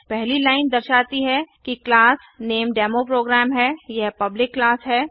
पहली लाइन दर्शाती है कि क्लास नेम डेमोप्रोग्राम है और यह पल्बिक क्लास है